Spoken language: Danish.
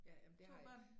Ja ja men det har jeg